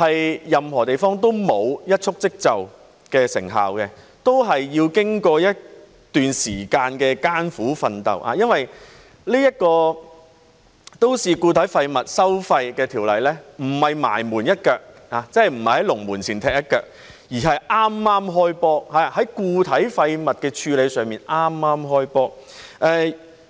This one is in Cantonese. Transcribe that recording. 任何地方都沒有一蹴而就的成效，都是要經過一段時間的艱苦奮鬥，因為這項都市固體廢物收費的法案不是"埋門一腳"，即不是在龍門前踢一腳，而是剛剛"開波"，在固體廢物的處理上剛剛"開波"。